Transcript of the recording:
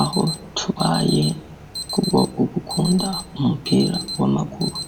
Aho tubaye kubwo ugukunda umupira w'amaguru,